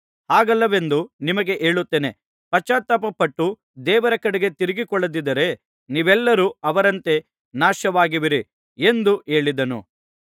ಹಾಗಲ್ಲವೆಂದು ನಿಮಗೆ ಹೇಳುತ್ತೇನೆ ಪಶ್ಚಾತ್ತಾಪಪಟ್ಟು ದೇವರ ಕಡೆಗೆ ತಿರುಗಿಕೊಳ್ಳದಿದ್ದರೆ ನೀವೆಲ್ಲರೂ ಅವರಂತೆ ನಾಶವಾಗುವಿರಿ ಎಂದು ಹೇಳಿದನು